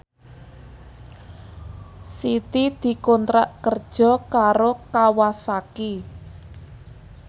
Siti dikontrak kerja karo Kawasaki